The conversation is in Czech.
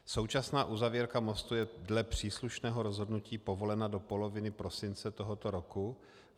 Současná uzavírka mostu je dle příslušného rozhodnutí povolena do poloviny prosince tohoto roku.